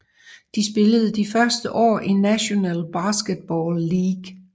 De spillede de første år i National Basketball League